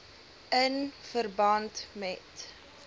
in verband met